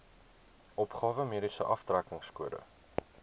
opgawe mediese aftrekkingskode